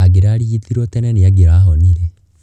Angĩrarigitirwo tene nĩ angirahonire.